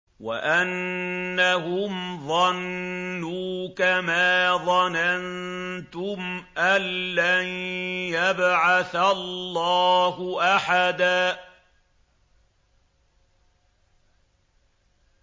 وَأَنَّهُمْ ظَنُّوا كَمَا ظَنَنتُمْ أَن لَّن يَبْعَثَ اللَّهُ أَحَدًا